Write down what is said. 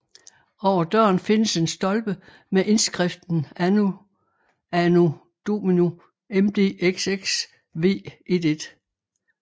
Over døren findes en stolpe med indskriften ANNA ANO DNI MDXXVII